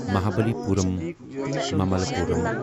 Mahabalipuram Mamallapuram